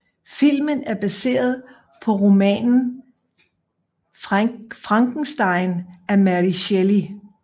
Filmen er baseret på romanen Frankenstein af Mary Shelley